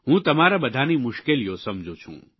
હું તમારા બધાની મુશ્કેલીઓ સમજું છું